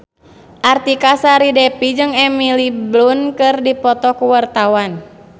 Artika Sari Devi jeung Emily Blunt keur dipoto ku wartawan